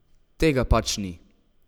Tega pač ni.